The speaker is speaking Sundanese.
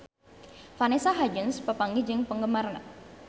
Vanessa Hudgens papanggih jeung penggemarna